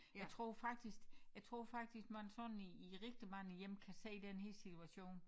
Jeg tror faktisk jeg tror faktisk man sådan i i rigtig mange hjem kan se den her situation